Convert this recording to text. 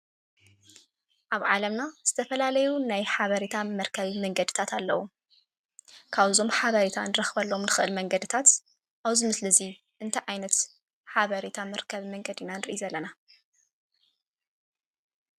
ኣብ ዓለምና ዝተፈላለዩ ናይ ሓበሬታ መርከቢ መንገዲታት ኣለው። ካብዞም ሓበሬታ እንረክበሎም እንክእል መንገድታት ኣብዚ ምስሊ እዙይ እንታይ ዓይነት ሓበሬታ መርከቢ መንገዲ ኢና ንርኢ ዘለና?